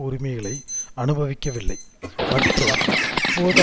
உரிமைகளை அனுபவிக்கவில்லை மற்றும் இப்போது